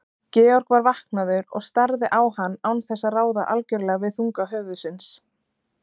Georg var vaknaður og starði á hann án þess að ráða algjörlega við þunga höfuðsins.